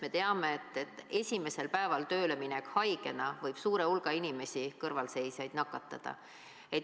Me teame, et esimesel päeval haigena tööleminek võib nakatada suure hulga inimesi, kõrvalseisjaid.